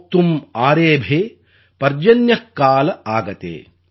மோக்தும் ஆரேபே பர்ஜன்ய கால ஆகதே